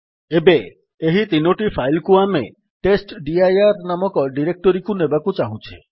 ଏବେ ଏହି ତିନୋଟି ଫାଇଲ୍ କୁ ଆମେ ଟେଷ୍ଟଡିର ନାମକ ଡିରେକ୍ଟୋରୀକୁ ନେବାକୁ ଚାହୁଁଛେ